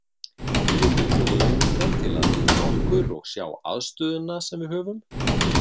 Við vildum bjóða þeim hingað til að hitta okkur og sjá aðstöðuna sem við höfum.